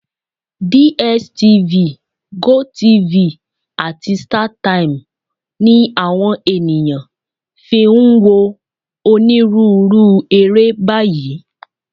DSTV, GOTV, àti Startimes ni àwọn ènìyàn fi ń wo onírúurú eré báyìí